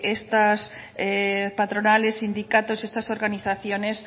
estas patronales sindicatos estas organizaciones